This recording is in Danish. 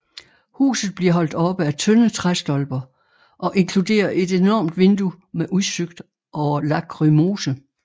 Huset bliver holdt oppe af tynde træstolper og inkluderer et enormt vindue med udsigt over Lachrymose